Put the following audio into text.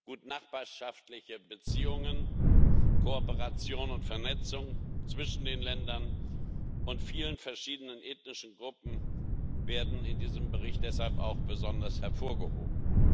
Gutnachbarschaftliche Beziehungen, Kooperation und Vernetzung zwischen den Ländern und vielen verschiedenen ethnischen Gruppen werden in diesem Bericht deshalb auch besonders hervorgehoben.